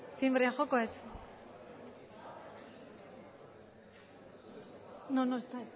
tinbrea joko det